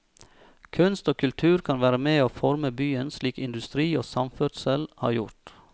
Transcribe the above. Kunst og kultur kan være med å forme byen slik industri og samferdsel har gjort.